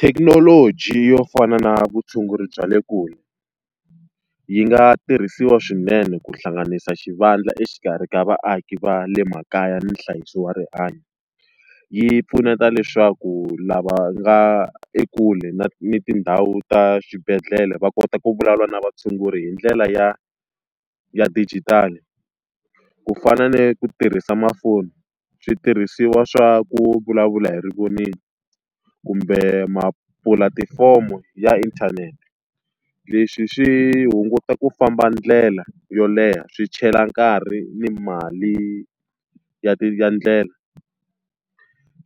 Thekinoloji yo fana na vutshunguri bya le kule, yi nga tirhisiwa swinene ku hlanganisa xivandla exikarhi ka vaaki va le makaya nhlayiso wa rihanyo. Yi pfuneta leswaku lava nga ekule na ni tindhawu ta xibedhlele va kota ku vulavula na vatshunguri hi ndlela ya ya dijitali. Ku fana ni ku tirhisa tifoni, switirhisiwa swa ku vulavula hi rivoningo, kumbe tipulatifomo ya inthanete. Leswi swi hunguta ku famba ndlela yo leha, swi chela nkarhi ni mali ya ya ndlela.